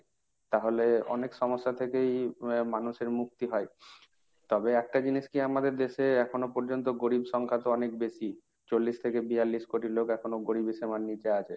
তাহলে অনেক সমস্যা থেকেই আহ মানুষের মুক্তি হয়। তবে একটা জিনিস কি আমাদের দেশে এখনো পর্যন্ত গরীব সংখ্যা তো অনেক বেশি। চল্লিশ থেকে বিয়াল্লিশ কোটি লোক এখনো গরীব সীমার নিচে আছে।